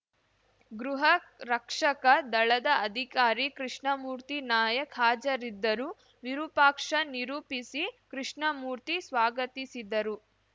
ಗೃಹರಕ್ಷಕ ದಳದ ಅಧಿಕಾರಿ ಕೃಷ್ಣಮೂರ್ತಿ ನಾಯಕ್‌ ಹಾಜರಿದ್ದರು ವಿರೂಪಾಕ್ಷ ನಿರೂಪಿಸಿ ಕೃಷ್ಣಮೂರ್ತಿ ಸ್ವಾಗತಿಸಿದರು